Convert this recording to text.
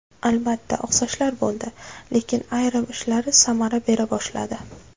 Albatta, oqsashlar bo‘ldi, lekin ayrim ishlari samara bera boshladi.